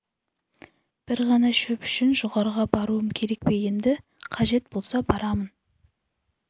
бір шана шөп үшін жоғарыға баруым керек пе енді қажет болса барамын